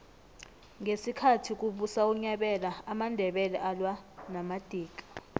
ngesikhathi kubusa unyabela amandebele alwa namadika